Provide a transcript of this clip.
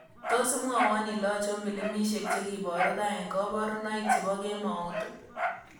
Tos' imwawon ile achon pilimisiek chegiboruu raa eng' kaborunoik che po kemout ii